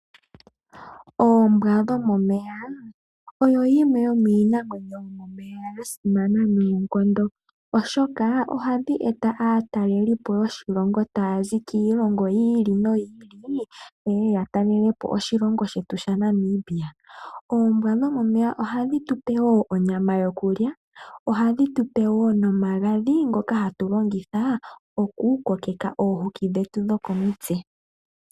Oombwa dhomomeya oyo yimwe yomiinamwenyo yomomeya ya simana noonkondo oshoka ohadhi eta aatalelipo yoshilongo taya zi kiilongo yi ili noyi ili yeye ya talele po oshilongo shetu shaNamibia. Oombwa dhomomeya ohadhi tupe wo onyama yokulya. Ohadhi tupe wo nomagadhi ngoka hatu longitha oku kokeka omafufu getu gokomitse.